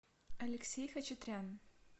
алексей хачатрян